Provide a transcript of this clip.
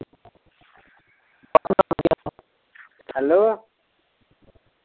Hello.